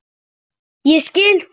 Ég skil það.